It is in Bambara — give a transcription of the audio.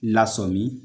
Lasɔmin